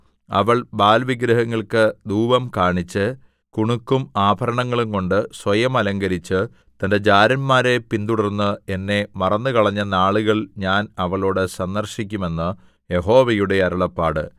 അവൾ ബാല്‍ വിഗ്രഹങ്ങൾക്ക് ധൂപം കാണിച്ച് കുണുക്കും ആഭരണങ്ങളുംകൊണ്ട് സ്വയം അലങ്കരിച്ച് തന്റെ ജാരന്മാരെ പിന്തുടർന്ന് എന്നെ മറന്നുകളഞ്ഞ നാളുകൾ ഞാൻ അവളോട് സന്ദർശിക്കും എന്ന് യഹോവയുടെ അരുളപ്പാട്